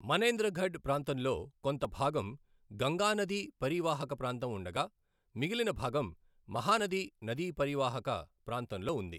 మనేంద్రఘఢ్ ప్రాంతంలో కొంత భాగం గంగా నదీ పరీవాహక ప్రాంతం ఉండగా మిగిలిన భాగం మహానది నదీ పరీవాహక ప్రాంతంలో ఉంది.